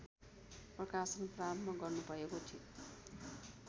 प्रकाशन प्रारम्भ गर्नुभएको